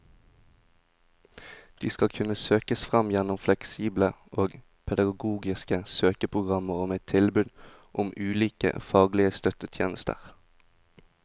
De skal kunne søkes fram gjennom fleksible og pedagogiske søkeprogrammer og med tilbud om ulike faglige støttetjenester.